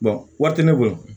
wari tɛ ne bolo